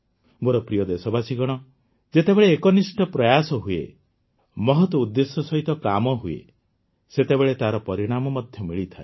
ମୋର ପ୍ରିୟ ଦେଶବାସୀଗଣ ଯେତେବେଳେ ଏକନିଷ୍ଠ ପ୍ରୟାସ ହୁଏ ମହତ୍ ଉଦ୍ଦେଶ୍ୟ ସହିତ କାମ ହୁଏ ସେତେବେଳେ ତାର ପରିଣାମ ମଧ୍ୟ ମିଳିଥାଏ